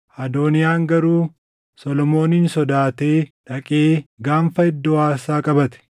Adooniyaan garuu Solomoonin sodaatee dhaqee gaanfa iddoo aarsaa qabate.